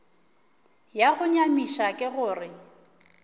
ya go nyamiša ke gore